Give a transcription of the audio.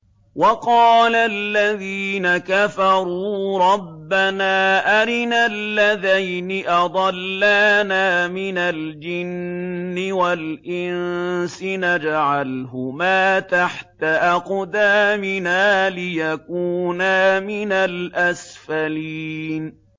وَقَالَ الَّذِينَ كَفَرُوا رَبَّنَا أَرِنَا اللَّذَيْنِ أَضَلَّانَا مِنَ الْجِنِّ وَالْإِنسِ نَجْعَلْهُمَا تَحْتَ أَقْدَامِنَا لِيَكُونَا مِنَ الْأَسْفَلِينَ